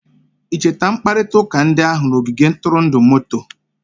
I cheta mkparịta ụka ndị ahụ n'ogige ntụrụndụ moto?